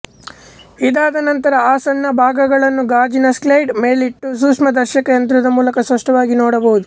ಇದಾದ ನಂತರ ಆ ಸಣ್ಣ ಭಾಗಗಳನ್ನು ಗಾಜಿನ ಸ್ಲೈಡ್ ಮೇಲಿಟ್ಟು ಸೂಕ್ಷ್ಮದರ್ಶಕ ಯಂತ್ರದ ಮೂಲಕ ಸ್ಪಷ್ಟವಾಗಿ ನೋಡಬಹುದು